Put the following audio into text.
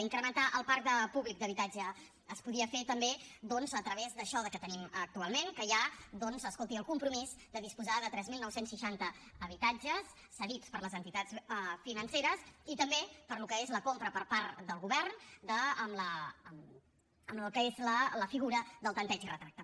incrementar el parc públic d’habitatge es podia fer també doncs a través d’això que tenim actualment que hi ha escolti el compromís de disposar de tres mil nou cents i seixanta habitatges cedits per les entitats financeres i també pel que és la compra per part del govern amb el que és la figura del tanteig i retracte